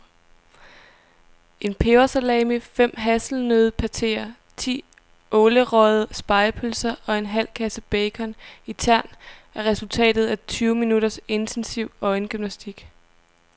En pebersalami, fem hasselnøddepateer, ti ålerøgede spegepølser og en halv kasse bacon i tern er resultatet af tyve minutters intensiv øjengymnastik.